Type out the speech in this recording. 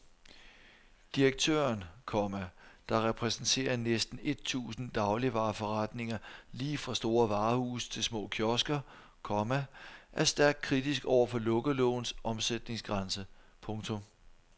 Direktøren, komma der repræsenterer næsten et tusind dagligvareforretninger lige fra store varehuse til små kiosker, komma er stærkt kritisk over for lukkelovens omsætningsgrænse. punktum